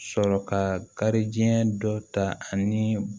Sɔrɔ ka kari diɲɛ dɔ ta ani